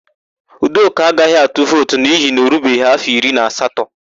Udoka agaghị atu vootu n'ihi na o rubeghị áfọ iri na asatọ.